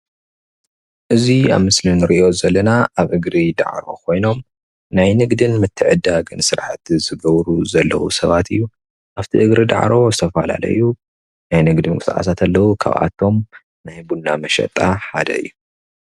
እዚ አብዚ ምስሊ እንሪኦ ዘለና አብ እግሪ ዳዕሮ ኮይኖም ናይ ንግድን ምትዕድዳገን ስራሕቲ ዝገብሩ ዘለዉ ስባት እዩ አብቲ እግሪ ዳዕሮ ዝተፈላለዩ ናይ ንግዲ ምንቅስቃሳት አለው ካብአቶም ናይ ቡና መሽጢ ሓደ እዩ፡፡